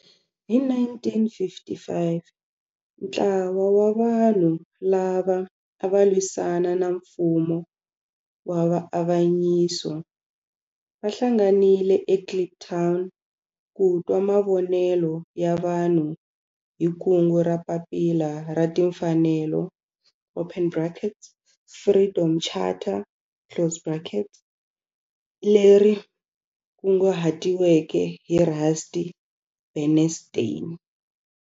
Hi 1955 ntlawa wa vanhu lava ava lwisana na nfumo wa avanyiso va hlanganile eKliptown ku twa mavonelo ya vanhu hi kungu ra Papila ra Timfanelo, Freedom Charter, leri kunguhatiweke hi Rusty Bernstein.